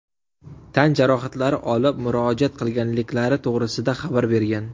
tan jarohatlari olib murojaat qilganliklari to‘g‘risida xabar bergan.